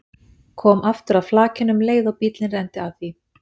Kom aftur að flakinu um leið og bíllinn renndi að því.